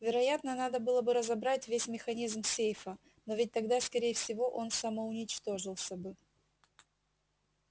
вероятно надо было бы разобрать весь механизм сейфа но ведь тогда скорее всего он самоуничтожился бы